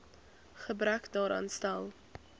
gebrek daaraan stel